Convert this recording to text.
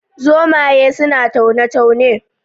Zomaye suna taune taune